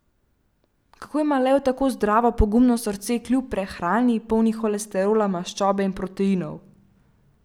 Kako ima lev tako zdravo, pogumno srce, kljub prehrani, polni holesterola, maščobe in proteinov?